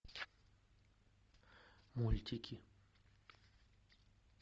мультики